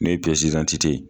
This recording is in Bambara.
N'o ye ye